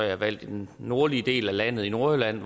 jeg valgt i den nordlige del af landet i nordjylland